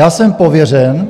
Já jsem pověřen